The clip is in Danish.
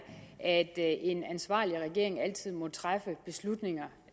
at en ansvarlig regering altid må træffe beslutninger